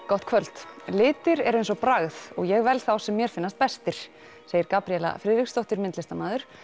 gott kvöld litir eru eins og bragð og ég vel þá sem mér finnast bestir segir Gabríela Friðriksdóttir myndlistamaður